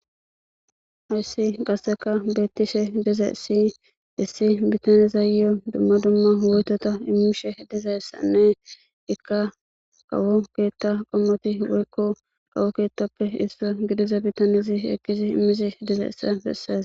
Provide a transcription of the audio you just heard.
Hays qaseka betishe dizays issi bitanezayo dumma dumma woytota imishe dizaysanne Ika keeta qomoti woyko kawo keetapppe isuwa gidiza bitanezi eqidi imishe dizays beses.